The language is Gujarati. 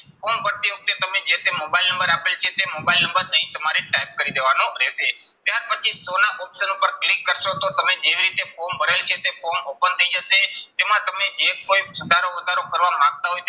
Form ભરતી વખતે તમે જે તે મોબાઈલ નંબર આપેલ છે તે મોબાઈલ નંબર અહીં તમારે type કરી દેવાનો રહેશે. ત્યાર પછી show ના option ઉપર click કરશો તો તમે જેવી રીતે form ભરેલ છે તે form open થઇ જશે. તેમાં તમને જે કોઈ સુધારો વધારો કરવા માંગતા હોય તે